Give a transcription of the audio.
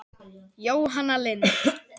Jóhanna Lind.